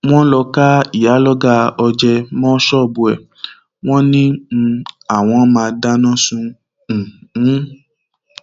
wọn lọọ ká ìyàlọgá ọjẹ mọ ṣọọbù ẹ wọn ni um àwọn máa dáná sun um ún